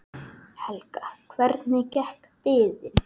Helga: Hvernig gekk biðin?